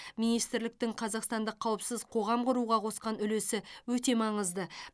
министрліктің қазақстандық қауіпсіз қоғам құруға қосқан үлесі өте маңызды